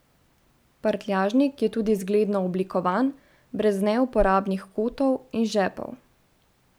Prtljažnik je tudi zgledno oblikovan, brez neuporabnih kotov in žepov.